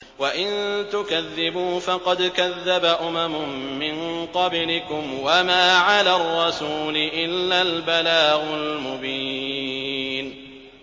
وَإِن تُكَذِّبُوا فَقَدْ كَذَّبَ أُمَمٌ مِّن قَبْلِكُمْ ۖ وَمَا عَلَى الرَّسُولِ إِلَّا الْبَلَاغُ الْمُبِينُ